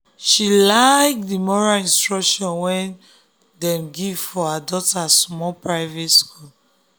she like the moral instruction wey dem dey give for her daughter small private school.